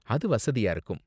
அது வசதியா இருக்கும்.